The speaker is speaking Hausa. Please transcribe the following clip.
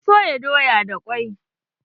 Na soya doya da kwai.